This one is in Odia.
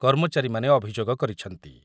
କର୍ମଚାରୀମାନେ ଅଭିଯୋଗ କରିଛନ୍ତି ।